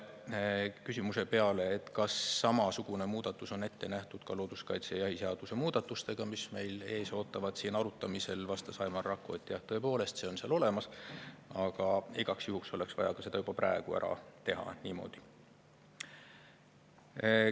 Küsimuse peale, kas samasugune muudatus on ette nähtud ka looduskaitseseaduse ja jahiseaduse muudatustega, mis meil siin arutamisel ees ootavad, vastas Aimar Rakko, et jah, tõepoolest, see on seal olemas, aga igaks juhuks oleks vaja see juba praegu niimoodi ära teha.